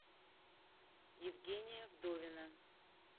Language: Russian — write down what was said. евгения вдовина